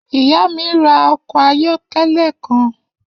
Iya mi ra ọkọ ayọkẹlẹ kan.